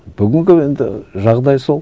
бүгінгі енді жағдай сол